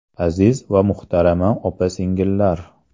Aziz va muhtarama opa-singillar!